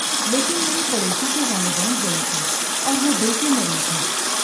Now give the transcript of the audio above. لیکن میرے پڑوسی کے والدین ضعیف ہیں اور وہ دل کے مریض ہیں۔